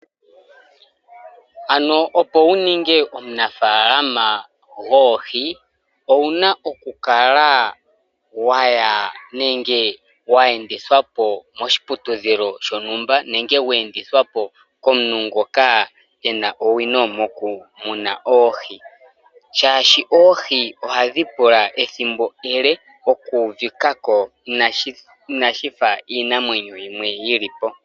Opo wu ninge omunafaalama goohi owu n aokukala wa ya nenge we endithwa po koshiputudhilo shontumba nenge we endithwa po komuntu ngoka e na owino mokumuna oohi, oshoka oohi ohadhi pula ethimbo ele oku uvika ko inashi fa iinamwenyo yimwe yi li po.